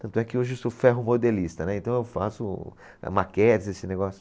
Tanto é que hoje eu sou ferro modelista, né, então eu faço o a maquetes esse negócio.